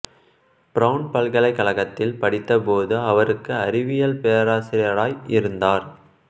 brown பல்கலைக்கழகத்தில் படித்த போது அவருக்கு அறிவியல் பேராசியராய் இருந்தார்